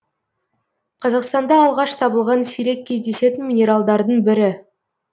қазақстанда алғаш табылған сирек кездесетін минералдардың бірі